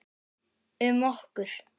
Um okkur.